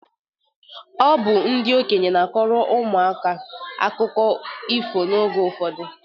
Ọ bụ ndị okenye na-akọrọ ụmụaka akụkọ ifo n'oge ụfọdụ.